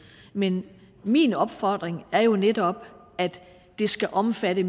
men min opfordring er jo netop at det skal omfatte